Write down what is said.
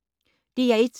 DR1